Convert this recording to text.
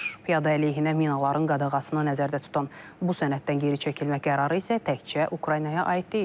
Piyada əleyhinə minaların qadağasını nəzərdə tutan bu sənəddən geri çəkilmək qərarı isə təkcə Ukraynaya aid deyil.